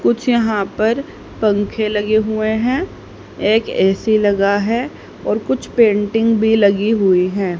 कुछ यहां पर पंखे लगे हुए हैं एक ए_सी लगा है और कुछ पेंटिंग भी लगी हुई हैं।